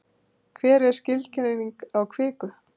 hver er skilgreining á kviku